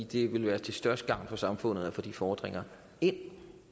det vil være til størst gavn for samfundet at få de fordringer ind